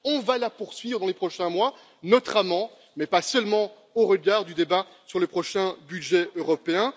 Nous allons la poursuivre dans les prochains mois, notamment, mais pas seulement, au regard du débat sur le prochain budget européen.